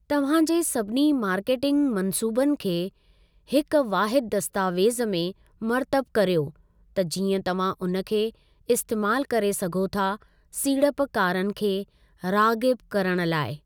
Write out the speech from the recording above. तव्हां जे सभिनी मार्केटिंग मंसूबनि खे हिक वाहिदु दस्तावेज़ में मरतब करियो त जीअं तव्हां उन खे इस्तेमालु करे सघो था सीड़पकारन खे राग़िब करणु लाइ।